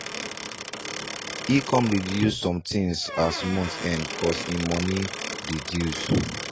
he come reduce some things as month end cause he money reduce